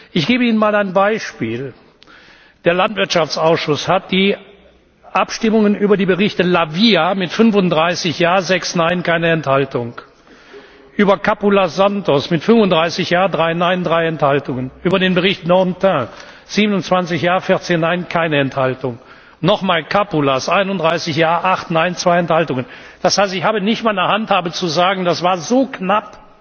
Ich gebe Ihnen einmal ein Beispiel Der Landwirtschaftsausschuss hat wie folgt abgestimmt über die Berichte La Via mit 35 Ja, 6 Nein, keine Enthaltung, über den Bericht Capoulas Santos mit 35 Ja, 3 Nein, 3 Enthaltungen, über den Bericht Dantin 27 Ja, 14 Nein, keine Enthaltung, nochmals Capoulas 31 Ja, 8 Nein, 2 Enthaltungen. Das heißt, ich habe nicht einmal eine Handhabe zu sagen, das war so knapp,